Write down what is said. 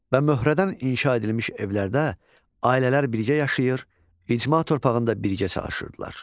Və möhrədən inşa edilmiş evlərdə, ailələr birgə yaşayır, icma torpağında birgə çalışırdılar.